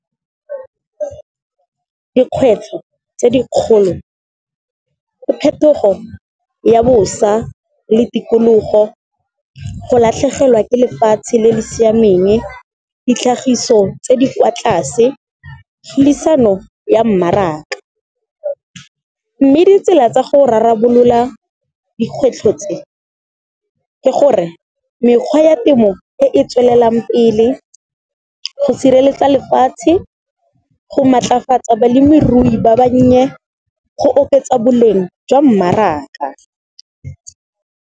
Dikgwetlho tse di kgolo, phetogo ya bosa le tikologo, go latlhegelwa ke lefatshe le le siameng, ditlhagiso tse di kwa tlase, tlhudisano ya mmaraka. Mme ditsela tsa go rarabolola dikgwetlho tse ke gore, mekgwa ya ka temo e e tswelelang pele, go sireletsa lefatshe, go matlafatsa balemirui ba bannye, go oketsa boleng jwa mmaraka.